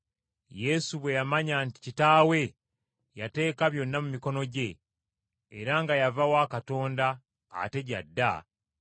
Yesu bwe yamanya nti Kitaawe yateeka byonna mu mikono gye, era nga yava wa Katonda ate gy’adda,